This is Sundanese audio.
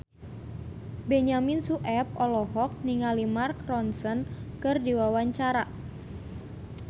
Benyamin Sueb olohok ningali Mark Ronson keur diwawancara